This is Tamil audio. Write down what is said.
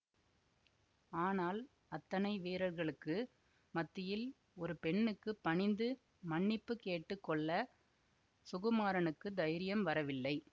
ஆனால் அத்தனை வீரர்களுக்கு மத்தியில் ஒரு பெண்ணுக்கு பணிந்து மன்னிப்பு கேட்டு கொள்ள சுகுமாரனுக்குத் தைரியம் வரவில்லை